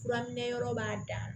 Furaminɛn yɔrɔ b'a dan na